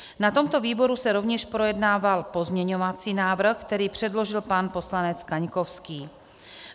Na tomto výboru se rovněž projednával pozměňovací návrh, který předložil pan poslanec Kaňkovský.